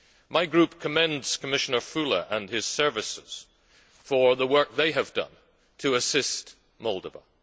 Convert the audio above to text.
My group commends Commissioner Füle and his services for the work they have done to assist Moldova.